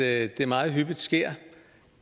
at det meget hyppigt sker